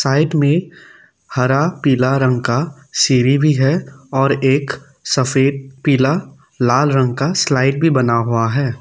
Night में हरा पीला रंग का सीढ़ी भी है और एक सफेद पीला लाल रंग का स्लाइड भी बना हुआ है।